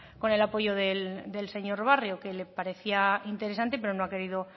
con el apoyo del señor barrio que le parecía interesante pero no ha querido